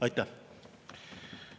Aitäh!